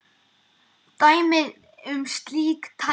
Dæmi um slík tæki